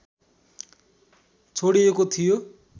छोडिएको थियो